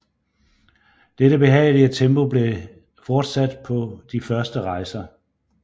Dette behagelige tempo blev fortsat på de første rejser